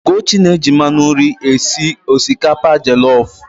Ugochi na-eji mmanụ nri esi osikapa jọlọf.